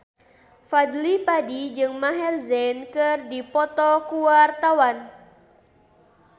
Fadly Padi jeung Maher Zein keur dipoto ku wartawan